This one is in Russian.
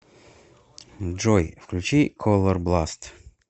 джой включи колорбласт